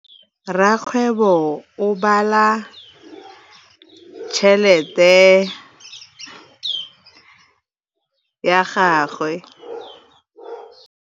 Rakgwêbô o bala tšheletê ya gagwe.